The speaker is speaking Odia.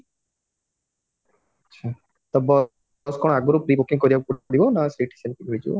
ଆଚ୍ଛା ତ bus କଣ ଆଗରୁ booking କରିବାକୁ ପଡିବ ନା ସେଇଠି ସେମଟି ମିଳିଯିବ